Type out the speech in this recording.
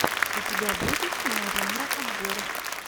у тебя будет кино жанра обзор